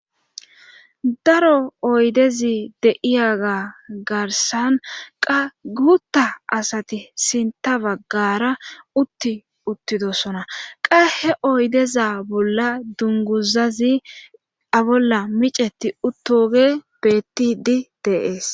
Daro oydezi deiyaga garsan qa gutta asati sinta baggara utti uttidosona qahe oydeza bolla dunguzazi abolla miceti uttoge bettidi deees.